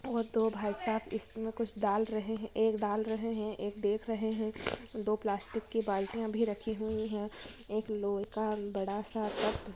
और दो भाईसाब इसमे कुछ डाल रहे है एक डाल रहे है एक देख रहे है दो प्लास्टिक की बाल्टियाँ भी रखी हुई है एक लोहे का बड़ा सा ट्रंक --